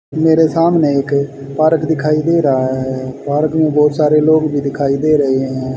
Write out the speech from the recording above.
मेरे सामने एक पारक दिखाई दे रहा है। पारक में बहोत सारे लोग भी दिखाई दे रहे हैं।